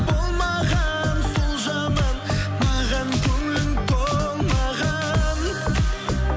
болмаған сол жаман маған көңілің толмаған